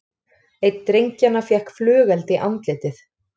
Einn drengjanna fékk flugeld í andlitið